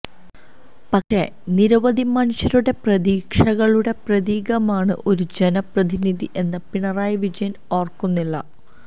പക്ഷെ നിരവധി മനുഷ്യരുടെ പ്രതീക്ഷകളുടെ പ്രതീകമാണ് ഒരു ജനപ്രതിനിധി എന്ന് പിണറായി വിജയന് ഓര്ക്കുന്നില്ല